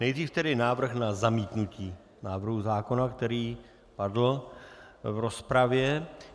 Nejdříve tedy návrh na zamítnutí návrhu zákona, který padl v rozpravě.